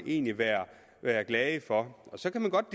egentlig være være glade for så kan man godt